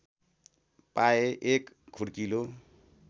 पाए एक खुड्किलो